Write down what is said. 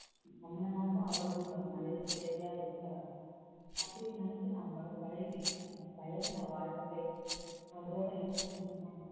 நம்மள மாதிரிதான் அவர்களும் ஒரு மனிதப் பிறவியாய் எடுத்தவர்கள் அப்படி நினைச்சு நான் அவங்களோட பழகி இருக்கேன் அந்த பழகின வாழ்க்கை அவர்களோட